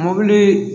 Mobili